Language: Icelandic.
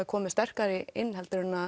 komið sterkari inn en